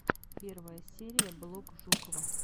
первая серия блог жукова